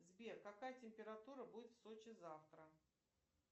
сбер какая температура будет в сочи завтра